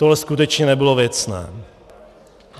Tohle skutečně nebylo věcné.